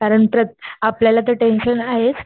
कारण तर आपल्याला तर टेन्शन हायेच